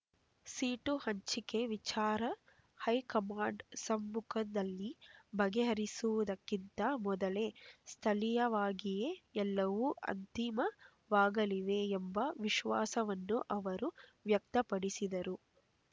seat ಹಂಚಿಕೆ ವಿಚಾರ high command ಸಮ್ಮುಖದಲ್ಲಿ ಬಗೆಹರಿಯುವುದಕ್ಕಿಂತ ಮೊದಲೇ ಸ್ಥಳೀಯವಾಗಿಯೇ ಎಲ್ಲವೂ ಅಂತಿಮವಾಗಲಿವೆ ಎಂಬ ವಿಶ್ವಾಸವನ್ನು ಅವರು ವ್ಯಕ್ತಪಡಿಸಿದರು